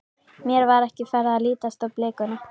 Mér var ekki farið að lítast á blikuna.